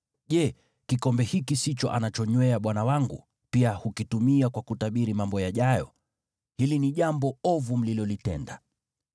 Je, kikombe hiki sicho anachonywea bwana wangu na pia hukitumia kwa kutabiri mambo yajayo? Hili ni jambo ovu mlilolitenda.’ ”